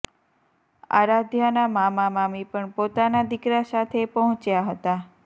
આરાધ્યાના મામા મામી પણ પોતાના દીકરા સાથે પહોંચ્યા હતા